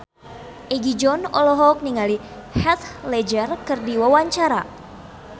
Egi John olohok ningali Heath Ledger keur diwawancara